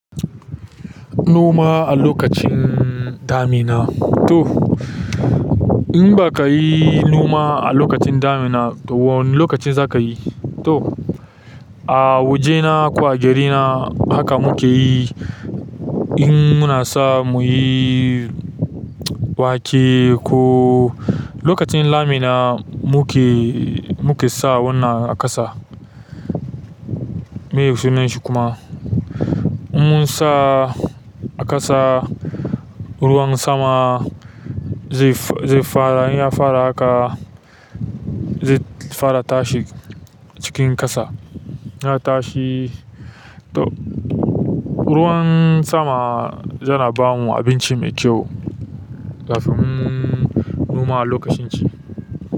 Noma a lokacin damina, toh in bakayi noma a lakacin damina toh da wane lokaci zakayi? To a wajena ko a garina haka muke yi in muna sa mu yi wake ko lokacin damina muke, muke sa wannan a ƙasa. Meye sunan shi kuma? In mun sa a ƙasa, ruwan sama zai, zai fara, in ya fara haka zai fara tashi cikin ƙasa. Ya tashi to ruwan sama yana ba mu abinci mai kyau kafin mun noma a lokacin ci.